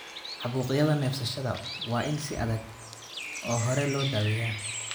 Caabuqyada neefsashada waa in si adag oo hore loo daweeyaa.